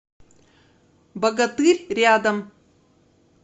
богатырь рядом